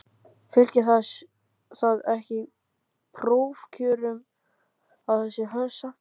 Fylgir það ekki prófkjörum að það sé hörð samkeppni?